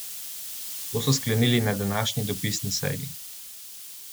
To so sklenili na današnji dopisni seji.